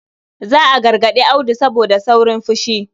Za a gargarɗi Audu saboda saurin fushi.